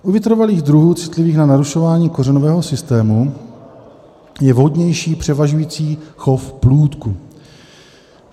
U vytrvalých druhů citlivých na narušování kořenového systému je vhodnější převažující chov plůdku.